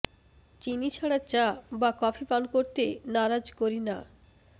চিনি ছাড়া চা বা কফি পান করতে নারাজ কারিনা